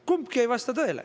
Kumbki ei vasta tõele.